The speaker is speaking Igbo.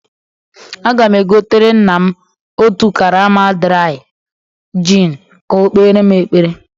Aga m egotere nna m otú karama draị jin ka ọ kpeere m ekpere